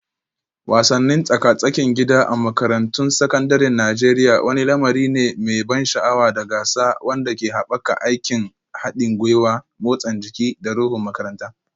Wasannin tsaka-tsakin gida a makarantun sakandaren Najeriya wani lamari ne mai ban sha'awa da gasa wanda ke haɓaka aikin haɗin gwiwa, motsa jiki, da ruhun makaranta.